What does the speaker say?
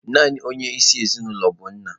Naanị onye isi ezinụlọ bụ nna.